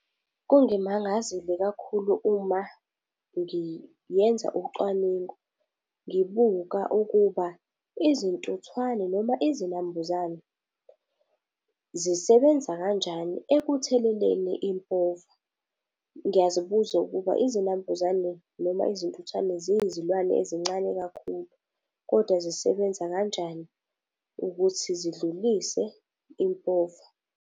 Kungimangazile kakhulu uma ngiyenza ucwaningo ngibuka ukuba izintuthwane noma izinambuzane zisebenza kanjani ekutheleleni impova. Ngiyazibuza ukuba izinambuzane noma izintuthwane ziyizilwane ezincane kakhulu, kodwa zisebenza kanjani ukuthi zidlulise impova.